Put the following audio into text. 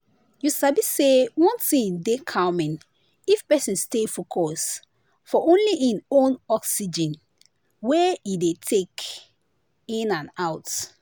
you sabi say one thing dey calming if person stay focus for only hin own oxygen wey e dey dey take in and out.